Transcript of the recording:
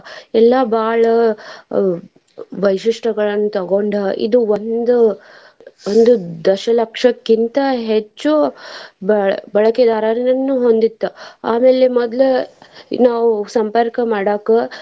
ಎಲ್ಲಾ ಬಾಳ ವೈಶಿಷ್ಟ್ಯಗಳನ್ನ ತಗೊಂಡ ಇದ್ ಒಂದ್ ಒಂದು ದಶಲಕ್ಷಕ್ಕಿಂತಾ ಹೆಚ್ಚು ಬ~ ಬಳಕೆದಾರರನ್ನು ಹೊಂದಿತ್ತ ಆಮೇಲೆ ಮದ್ಲ ನಾವ್ ಸಂಪರ್ಕ ಮಾಡಾಕ.